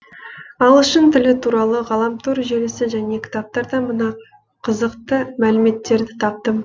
ағылшын тілі туралы ғаламтор желісі және кітаптардан мына қызықты мәліметтерді таптым